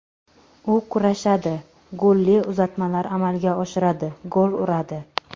U kurashadi, golli uzatmalar amalga oshiradi, gol uradi.